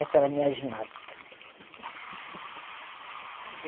Essa era a minha ginástica.